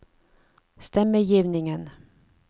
stemmegivningen